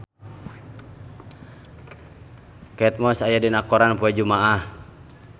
Kate Moss aya dina koran poe Jumaah